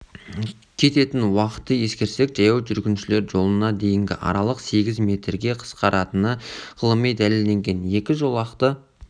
кететін уақытты ескерсек жаяу жүргіншілер жолына дейінгі аралық сегіз метрге қысқаратыны ғылыми дәлелденген екі жолақты